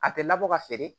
A tɛ labɔ ka feere